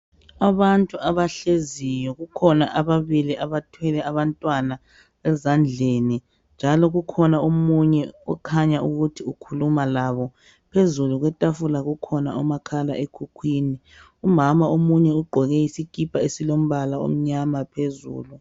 Abantu abahleziyo kukhona ababili abathwele abantwana ezandleni njalo kukhona omunye okhanya ukuthi ukhuluma labo phezulu kwetafula kukhona umakhala ekhukhwini umama omunye ugqoke isikipa esilombala omnyama phezulu.